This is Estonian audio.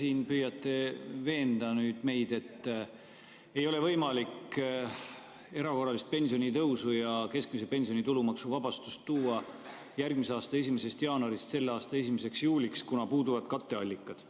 Te siin püüate veenda meid, et ei ole võimalik erakorralist pensionitõusu ja keskmise pensioni tulumaksuvabastust tuua järgmise aasta 1. jaanuarist selle aasta 1. juuliks, kuna puuduvad katteallikad.